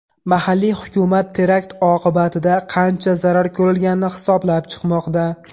Mahalliy hukumat terakt oqibatida qancha zarar ko‘rilganini hisoblab chiqmoqda.